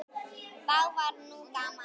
Þá var nú gaman.